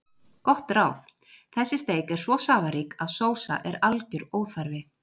Gott ráð: Þessi steik er svo safarík að sósa er algjör óþarfi.